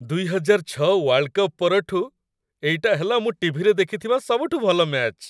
୨୦୦୬ world cup ପରଠୁ ଏଇଟା ହେଲା ମୁଁ ଟି.ଭି.ରେ ଦେଖିଥିବା ସବୁଠୁ ଭଲ ମ୍ୟାଚ୍‌।